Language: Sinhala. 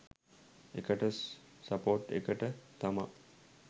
ඒකට සපෝට් එකට තමා